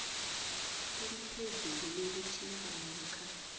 eliphezulu lokutjhisa namkha